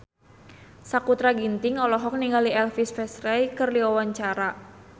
Sakutra Ginting olohok ningali Elvis Presley keur diwawancara